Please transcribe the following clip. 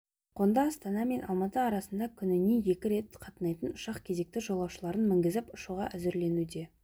қонды астана мен алматы арасына күніне екі рет қатынайтын ұшақ кезекті жолаушыларын мінгізіп ұшуға әзірленуде